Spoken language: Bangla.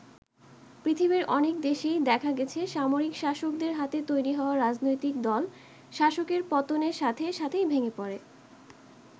পৃথিবীর অনেক দেশেই দেখা গেছে সামরিক শাসকদের হাতে তৈরি হওয়া রাজনৈতিক দল শাসকের পতনে সাথে সাথেই ভেঙে পড়ে।